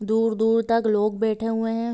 दूर-दूर तक लोग बैठे हुए है।